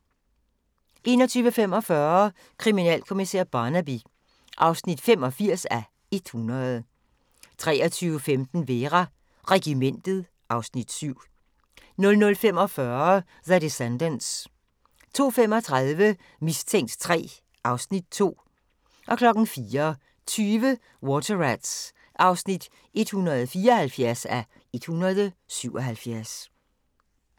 21:45: Kriminalkommissær Barnaby (85:100) 23:15: Vera: Regimentet (Afs. 7) 00:45: The Descendants 02:35: Mistænkt 3 (Afs. 2) 04:20: Water Rats (174:177)